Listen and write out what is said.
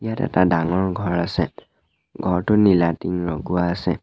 ইয়াত এটা ডাঙৰ ঘৰ আছে ঘৰটোত নীলা টিং লগোৱা আছে।